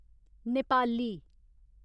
Nepali